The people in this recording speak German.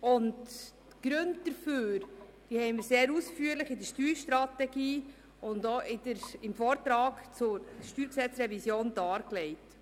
Die Gründe dafür haben wir sehr ausführlich in der Steuerstrategie und im Vortrag zur StGRevision dargelegt.